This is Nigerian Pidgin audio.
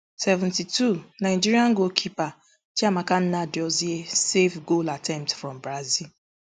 seventy-two nigeria goalkeeper chiamaka nnadozie save goal attempt from brazil